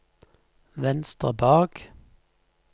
venstre bak